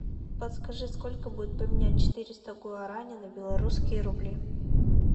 подскажи сколько будет поменять четыреста гуарани на белорусские рубли